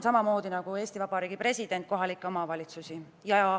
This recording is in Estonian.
Samamoodi nagu Eesti Vabariigi president, usun ka mina kohalikesse omavalitsustesse.